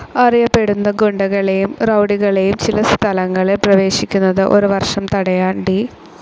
അറിയപ്പെടുന്ന ഗുണ്ടകളെയും റൌഡികളെയും ചില സ്ഥലങ്ങളിൽ പ്രവേശിക്കുന്നത് ഒരു വർഷം തടയാൻ ഡി.